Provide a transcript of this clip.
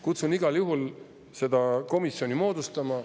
Kutsun igal juhul üles seda komisjoni moodustama.